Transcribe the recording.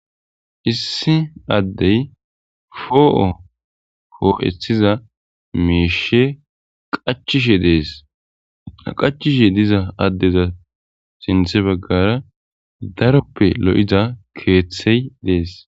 issi addey foo7o hoo7ethiza meeshe qachishe dees aqachishe diza addeza sinthe baggara daroppe lo7ida keeththey dees